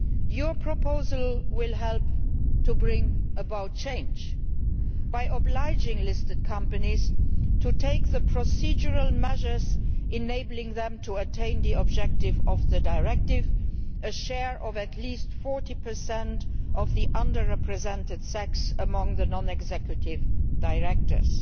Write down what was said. Your proposal will help to bring about change by obliging listed companies to take the procedural measures enabling them to attain the objective of the Directive, a share of at least 40 per cent of the under represented sex among non executive directors.